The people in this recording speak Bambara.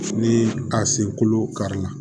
Ni a sen kolo kari la